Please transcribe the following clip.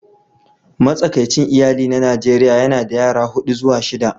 Matsakaicin iyali na Najeriya yana da yara huɗu zuwa shida